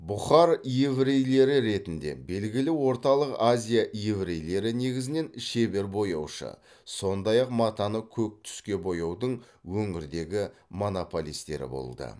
бұхар еврейлері ретінде белгілі орталық азия еврейлері негізінен шебер бояушы сондай ақ матаны көк түске бояудың өңірдегі монополистері болды